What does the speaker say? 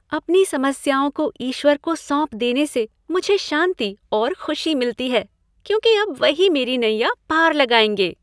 अपनी समस्याओं को ईश्वर को सौंप देने से मुझे शांति और खुशी मिलती है क्योंकि अब वही मेरी नैया पार लगाएंगे।